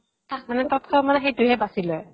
তাত মানে তৎক্ষণাত মানে সেইটোহে বাছি লয়